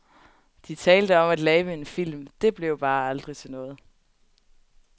De talte om at lave en film, det blev bare aldrig til noget.